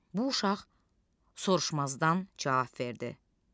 Bu uşaq soruşmazdan cavab verdi.